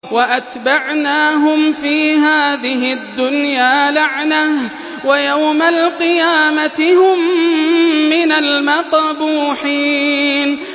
وَأَتْبَعْنَاهُمْ فِي هَٰذِهِ الدُّنْيَا لَعْنَةً ۖ وَيَوْمَ الْقِيَامَةِ هُم مِّنَ الْمَقْبُوحِينَ